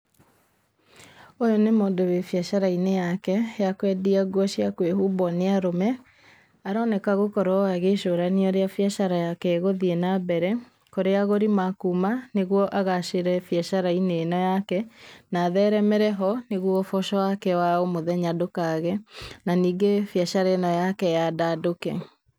Ũyũ nĩ mũndũ wĩ biacara-inĩ yake ya kwendia nguo cia kwĩhumbwo nĩ arũme. Aroneka gũkorwo agĩcũrania ũrĩa biacara yake ĩgũthiĩ na mbere kũrĩa agũri makuma nĩguo agacĩre biacara-inĩ ĩno yake na atheremere ho nĩguo ũboco wake wa o mũthenya ndũkage na ningĩ biacara ĩno yake yandandũke.